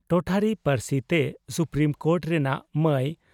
ᱴᱚᱴᱷᱟᱨᱤ ᱯᱟᱹᱨᱥᱤ ᱛᱮ supreme court ᱨᱮᱱᱟᱜ ᱢᱟᱭ